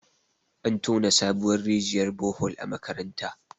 an tona sabuwar rijiyar Bohol a makaranta